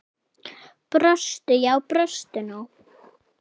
Brostu, já brostu nú!